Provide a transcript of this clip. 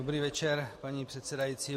Dobrý večer, paní předsedající.